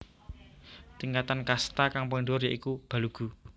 Tingkatan kasta kang paling dhuwur ya iku Balugu